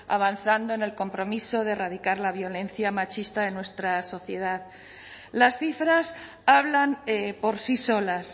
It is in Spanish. avanzando en el compromiso de erradicar la violencia machista de nuestra sociedad las cifras hablan por sí solas